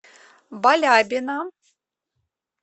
балябина